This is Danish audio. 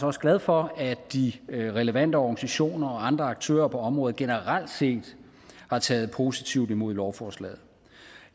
også glad for at de relevante organisationer og andre aktører på området generelt set har taget positivt imod lovforslaget